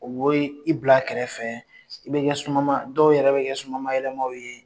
O b'i i bila kɛrɛfɛ, i bɛ kɛ somayalama, dɔw yɛrɛ bɛ kɛ soma yɛlɛma ye!